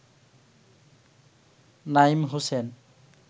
Naim Hossain